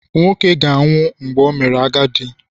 Nwoke ga-anwụ mgbe o mere agadi